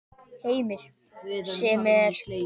Heimir: Sem er?